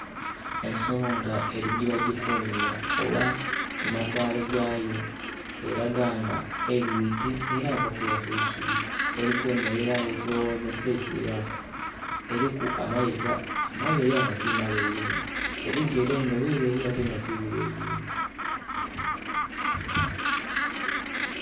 Ensolo nga eri gyebajikumira oba mumatwale gayo eraga nga eigwite era evakulya kwisubi. Erikwemerera eri kulowooza kyekiraku. Eriku amayiga amaleyi nga timaleyi inho, ebigere nga bileyi nga tibileyi inho